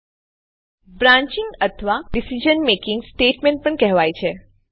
આને બ્રાન્ચિંગ અથવા decision making statement પણ કહેવાય છે